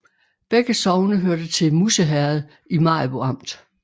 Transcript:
Begge sogne hørte til Musse Herred i Maribo Amt